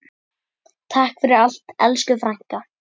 Takk fyrir allt, elsku frænka.